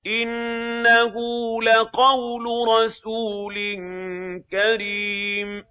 إِنَّهُ لَقَوْلُ رَسُولٍ كَرِيمٍ